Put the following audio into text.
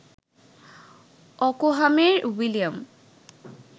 অকহামের William